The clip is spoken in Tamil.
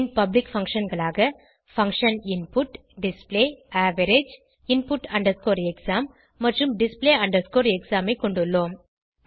பின் பப்ளிக் functionகளாக function input display average input exam மற்றும் display exam ஐ கொண்டுள்ளோம்